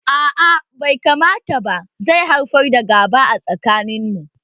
A'a bai kamata ba zai haifar da gaba a tsakaninsu